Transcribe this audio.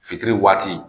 Fitiri waati